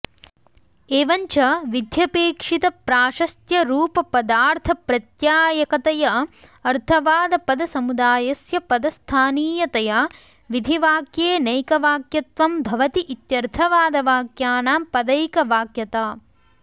एवं च विध्यपेक्षितप्राशस्त्यरूपपदार्थप्रत्यायकतया अर्थवादपदसमुदायस्य पदस्थानीयतया विधिवाक्येनैकवाक्यत्वं भवति इत्यर्थवादवाक्यानां पदैकवाक्यता